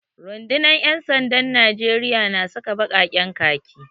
Rundunar ‘yan sandan Najeriya na saka baƙaƙen khaki